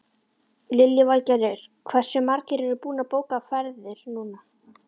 Lillý Valgerður: Hversu margir eru búnir að bóka ferðir núna?